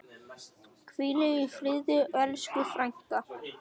Hvíl í friði elsku frænka.